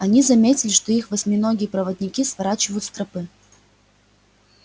они заметили что их восьминогие проводники сворачивают с тропы